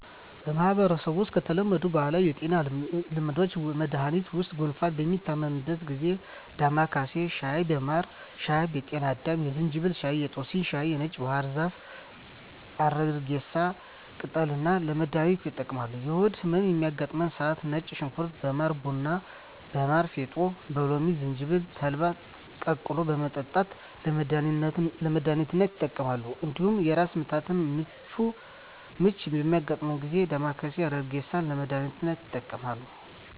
በማህበረሰቡ ውስጥ ከተለመዱ ባህላዊ የጤና ልምዶችና መድሀኒቶች ውስጥ ጉንፋን በሚታመሙበት ጊዜ እንደ ዳማካሴ ሻይ በማር ሻይ በጤና አዳም የዝንጅብል ሻይ የጦስኝ ሻይ የነጭ ባህር ዛፍና የአረግሬሳ ቅጠልን ለመድሀኒትነት ይጠቀማሉ። የሆድ ህመም በሚያጋጥማቸው ሰዓት ነጭ ሽንኩርት በማር ቡና በማር ፌጦ በሎሚ ዝንጅብል ተልባን ቀቅሎ በመጠጣት ለመድሀኒትነት ይጠቀማሉ። እንዲሁም የራስ ምታትና ምች በሚያጋጥማቸው ጊዜ ዳማካሴ አረግሬሳን ለመድሀኒትነት ይጠቀማሉ።